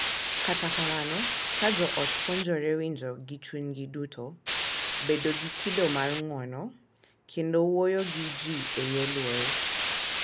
Kata kamano, ka jo ot puonjore winjo gi chunygi duto, bedo gi kido mar ng’uono, kendo wuoyo gi ji e yor luor,